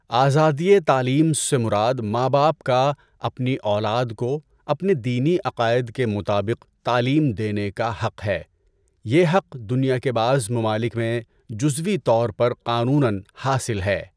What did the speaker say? آزادیِ تعلیم سے مراد ماں باپ کا اپنی اولاد کو اپنے دینی عقائد کے مطابق تعلیم دینے کا حق ہے۔ یہ حق دنیا کے بعض ممالک میں جُزوی طور پر قانوناً حاصل ہے۔